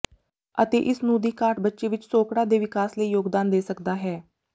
ਅਤੇ ਇਸ ਨੂੰ ਦੀ ਘਾਟ ਬੱਚੇ ਵਿਚ ਸੋਕੜਾ ਦੇ ਵਿਕਾਸ ਲਈ ਯੋਗਦਾਨ ਦੇ ਸਕਦਾ ਹੈ